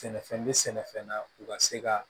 Sɛnɛfɛn bɛ sɛnɛfɛn na u ka se ka